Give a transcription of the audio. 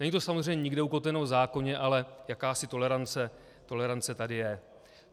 Není to samozřejmě nikde ukotveno v zákoně, ale jakási tolerance tady je.